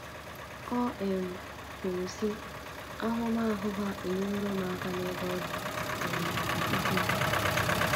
O um kwuru sị,“ Ahụmahụ ha enyeworo m aka n'ebe ọ dị um ukwuu.